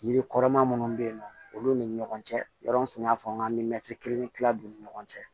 Yiri kɔrɔma minnu bɛ yen nɔ olu ni ɲɔgɔn cɛ yɔrɔ in tun y'a fɔ n ka kila u ni ɲɔgɔn cɛ